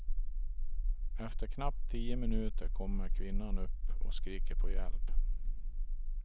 Efter knappt tio minuter kommer kvinnan upp och skriker på hjälp.